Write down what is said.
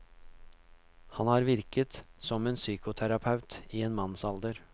Han har virket som psykoterapeut i en mannsalder.